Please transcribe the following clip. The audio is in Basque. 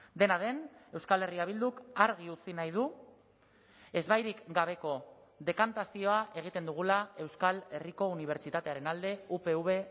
dena den euskal herria bilduk argi utzi nahi du ezbairik gabeko dekantazioa egiten dugula euskal herriko unibertsitatearen alde upv